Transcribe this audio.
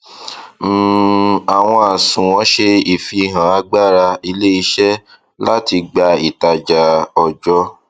um àwọn àsunwon ṣe ìfihàn agbára iléiṣẹ láti gba ìtajà ọjọ